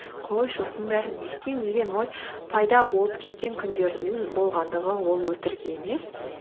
қойшы осының бәрін не істеймін деген ой пайда болып кеткен күндердің болғандығы ол өтірік емес